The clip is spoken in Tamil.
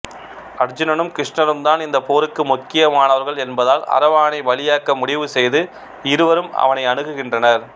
அர்ஜீனனும் கிருஷ்ணரும் தான் இந்த போருக்கு முக்கியமானவர்கள் என்பதால் அரவானைப் பலியாக்க முடிவு செய்து இருவரும் அவனை அணுகுகின்றனர்